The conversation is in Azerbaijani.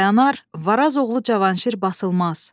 Kür dayanar, Varaz oğlu Cavanşir basılmaz.